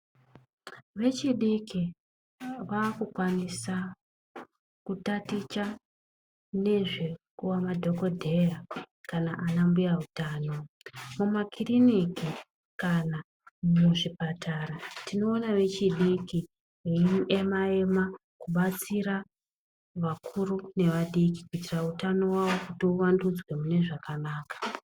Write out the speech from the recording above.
Vechidiki vakukwanisa kutaticha nezvekuva madhokoteya kana zvana mbuya veutano muzvibhedhlera ,tinoona vechidiki veiema ema kudetsera vakuru nevadiki, kuitira utano hwavo kiti uvandudzwe mune zvakanaka.